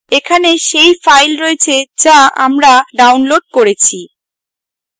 এখানে সেই file রয়েছে যা আমরা ডাউনলোড করেছি